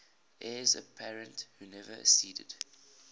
heirs apparent who never acceded